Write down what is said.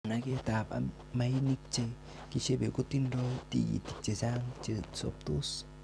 managet ab mainik che kishebe kotindoi tigitik chechang che sobtos.